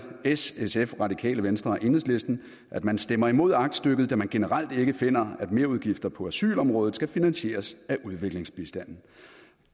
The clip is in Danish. s sf radikale venstre og enhedslisten at man stemmer imod aktstykket da man generelt ikke finder at merudgifter på asylområdet skal finansieres af udviklingsbistanden